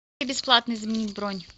как бесплатно изменить бронь